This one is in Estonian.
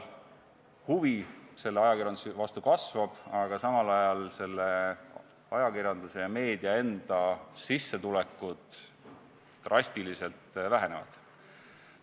Huvi ajakirjanduse vastu kasvab, aga samal ajal ajakirjanduse ja meedia enda sissetulekud drastiliselt vähenevad.